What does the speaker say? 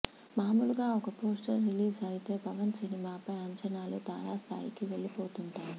మామూలుగా ఒక poster release అయితే పవన్ సినిమాపై అంచనాలు తారాస్థాయికి వెళ్లిపోతుంటాయి